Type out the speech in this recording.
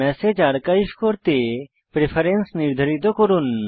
message archive করতে preference নির্ধারিত করুন